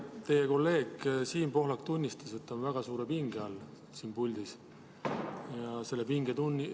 Teie kolleeg Siim Pohlak tunnistas, et ta on siin puldis väga suure pinge all.